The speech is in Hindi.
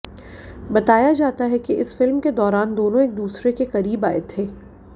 बताया जाता है कि इसी फिल्म के दौरान दोनों एक दुसरे के करीब आए थे